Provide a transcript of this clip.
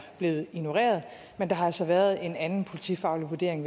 blevet ignoreret men der har altså været en anden politifaglig vurdering